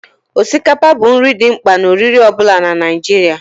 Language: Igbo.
Osikapa bụ nri dị mkpa na oriri ọ bụla na Naịjirịa